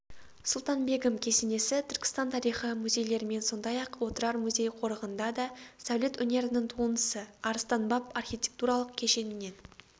сұлтанбегім кесенесі түркістан тарихы музейлерімен сондай-ақ отырар музей-қорығында да сәулет өнерінің туындысы арыстанбаб архитектуралық кешенінен